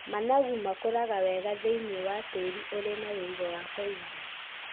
Managu makũraga wega thĩiniĩ wa tĩĩri ũrĩ na ũigũ wa kũigana.